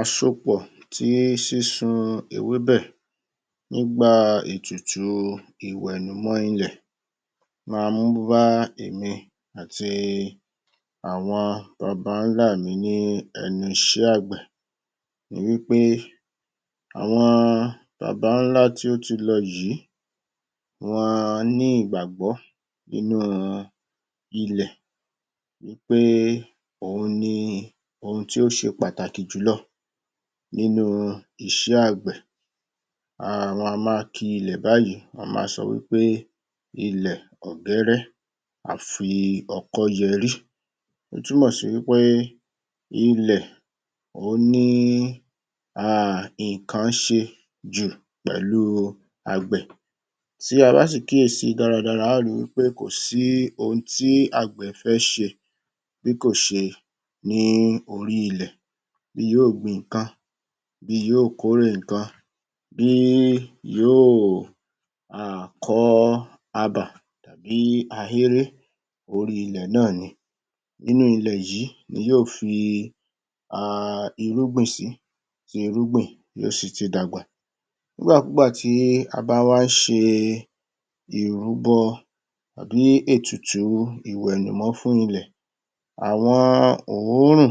Àsopọ̀ tí sísun ewébẹ̀ nígbà ètùtù ìwẹ̀nùmọ́ ilẹ̀ máa ń bá èmi àti bàbá ńlá mi ní ẹnu iṣẹ́ àgbẹ̀ ni wí pé àwọn bàbá ńlá tí ó ti lọ yìí wọ́n a ní ìgbàgbọ́ inú ilẹ̀ wí pé òhun ni ohun tí ó ṣe pàtàkì jùlọ nínú iṣẹ́ àgbẹ̀ um wọ́n á ma ki ilẹ̀ báyìí, wọ́n ma sọ wí pé ilẹ̀ ọ̀gẹ́rẹ́ afi ọkọ́ yẹrí ó túmọ̀ sí wí pé ilẹ̀ ó ní um nǹkan ṣe jù pẹ̀lú àgbẹ̀ Tí a bá sì kíyèsí dáradára, a ó ri wí pé kò sí ohun tí àgbẹ̀ fẹ́ ṣe bíkòṣe ní orí ilẹ̀ yóò gbin nǹkan bí yóò kórè nǹkan bí yóò um kọ abà bí ahéré orí ilẹ̀ náà ni nínú ilẹ̀ yìí ni yóò fi um irúgbìn sí tí irúgbìn yóò si ti dàgbà ìgbàkúúgbà tí a bá wá ṣe ìrúbọ tàbí ètùtù ìwẹ̀nùmọ́ fún ilẹ̀ àwọn òórùn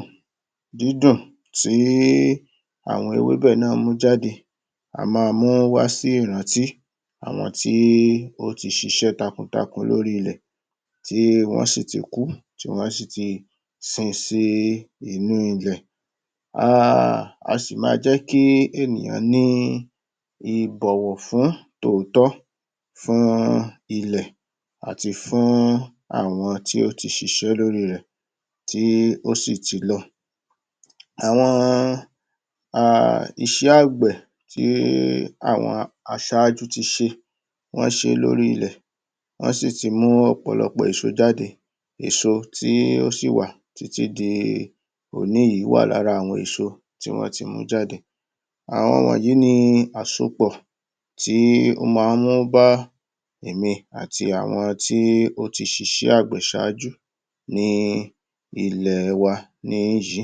dídùn tí í àwọn ewébẹ̀ náà mú jáde á ma mú wá sí ìrántí àwọn tí ọ́ ti ṣiṣẹ́ takuntakun lórí ilẹ̀ tí wọ́n sì ti kú, tí wọ́n sì ti sin sí inú ilẹ̀ um a sì ma jẹ́ kí ènìyàn ní ìbọ̀wọ̀ fún tòótọ́ fún ilẹ̀ àti fún àwọn tí ó ti ṣiṣẹ́ lórí rẹ̀ tí ó sì ti lọ àwọn um iṣẹ́ àgbẹ̀ tí àwọn aṣájú ti ṣe wọ́n ṣe lórí ilẹ̀ wọ́n sì ti mú ọ̀pọ̀lọpọ̀ èso jáde èso tí ó sì wà títí di òní yìí wà lára àwọn èso tí wọ́n ti mú jáde àwọn wọnyìí ni àsopọ̀ tí ó maá ń mú bá èmi àti àwọn tí ó ti ṣiṣẹ́ àgbẹ̀ ṣáájú ní ilẹ̀ wa níyìí